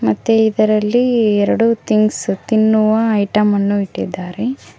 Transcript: ಮತ್ತೆ ಇದರಲ್ಲಿ ಎರಡು ಥಿಂಗ್ಸ್ ತಿನ್ನುವ ಐಟಂ ಅನ್ನು ಇಟ್ಟಿದ್ದಾರೆ.